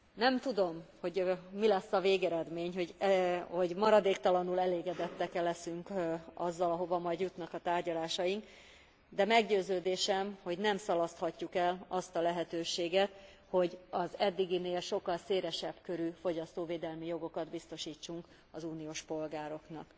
Nem tudom, hogy mi lesz a végeredmény, hogy maradéktalanul elégedettek leszünk e azzal, ahova majd jutnak a tárgyalásaink, de meggyőződésem, hogy nem szalaszthatjuk el azt a lehetőséget, hogy az eddiginél sokkal szélesebb körű fogyasztóvédelmi jogokat biztosítsunk az uniós polgároknak.